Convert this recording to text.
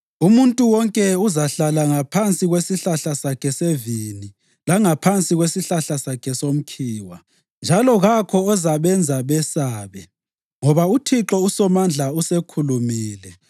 Umuntu wonke uzahlala ngaphansi kwesihlahla sakhe sevini langaphansi kwesihlahla sakhe somkhiwa, njalo kakho ozabenza besabe, ngoba uThixo uSomandla usekhulumile.